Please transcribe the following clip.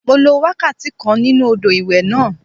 Mo lo wákàtí kan nínú odò ìwẹ̀ náà